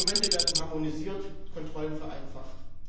Dokumente werden harmonisiert, Kontrollen vereinfacht.